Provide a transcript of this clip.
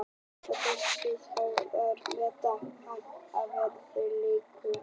En þessi þjóð þarf að meta hann að verðleikum.